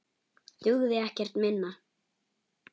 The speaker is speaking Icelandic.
Dugði ekkert minna.